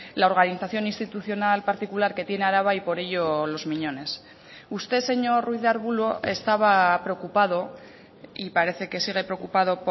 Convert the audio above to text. la organización institucional particular que tiene araba y por ello los miñones usted señor ruiz de arbulo estaba preocupado y parece que sigue preocupado